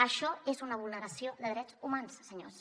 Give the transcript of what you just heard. això és una vulneració de drets humans senyors